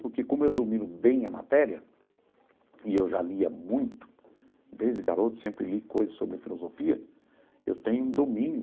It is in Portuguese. Porque como eu domino bem a matéria, e eu já lia muito desde garoto, sempre li coisas sobre filosofia, eu tenho um domínio.